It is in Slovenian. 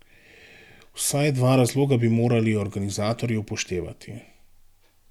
Vsaj dva razloga bi morali organizatorji upoštevati.